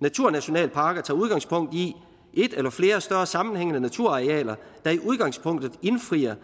naturnationalparker tager udgangspunkt i et eller flere større sammenhængende naturarealer der i udgangspunktet indfrier